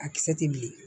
A kisɛ tɛ bilen